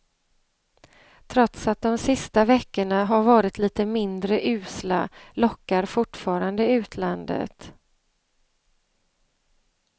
Trots att de sista veckorna har varit lite mindre usla lockar fortfarande utlandet.